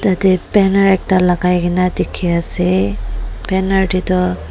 ate banner ekta lakai kena dekhe ase banner tey tu--